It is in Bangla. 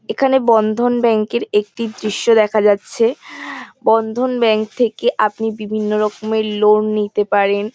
এখানে বন্ধন ব্যাংক -এর একটি দৃশ্য দেখা যাচ্ছে বন্ধন ব্যাংক থেকে আপনি বিভিন্ন রকমের লোন নিতে পারেন।